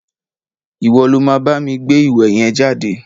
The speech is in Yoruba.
Ìwo lo ma bámi gbé ìwé yen jáde!